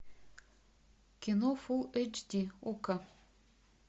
кино фулл эйч ди окко